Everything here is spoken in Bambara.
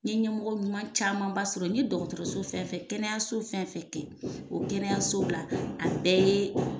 N ɲe ɲɛmɔgɔ ɲuman camanba sɔrɔ n ye dɔgɔtɔrɔso fɛn fɛn kɛnɛyaso fɛn kɛ o kɛnɛya so bila a bɛɛ yee